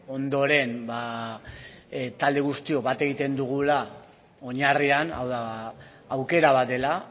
ondoren talde guztiok bat egiten dugula oinarrian hau da aukera bat dela